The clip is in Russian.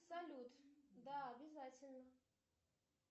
салют да обязательно